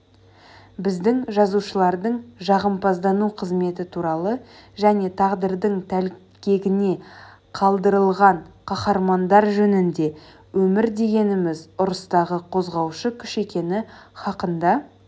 біздің жазушылардың жағымпаздану қызметі туралы және тағдырдың тәлкегіне қалдырылған қаһармандар жөнінде өмір дегеніміз ұрыстағы қозғаушы күш екені хақында